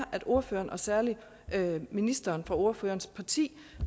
ordføreren og særlig ministeren fra ordførerens parti